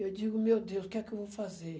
Eu digo, meu Deus, o que é que eu vou fazer?